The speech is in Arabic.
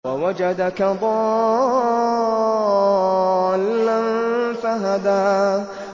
وَوَجَدَكَ ضَالًّا فَهَدَىٰ